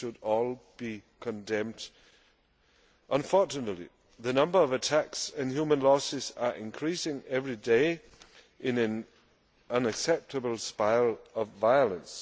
They should all be condemned. Unfortunately, the number of attacks and human losses are increasing every day in an unacceptable spiral of violence.